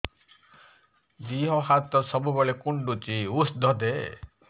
ଦିହ ହାତ ସବୁବେଳେ କୁଣ୍ଡୁଚି ଉଷ୍ଧ ଦେ